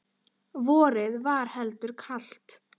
Vorið var heldur kalt.